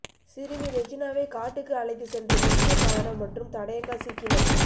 சிறுமி ரெஜினாவை காட்டுக்கு அழைத்து சென்ற முக்கிய காரணம் மற்றும் தடயங்கள் சிக்கின